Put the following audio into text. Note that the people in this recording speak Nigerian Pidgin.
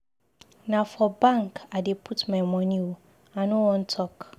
Na for bank I dey put my money oo. I no wan talk.